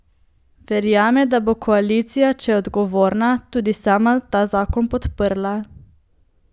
Verjame, da bo koalicija, če je odgovorna, tudi sama ta zakon podprla.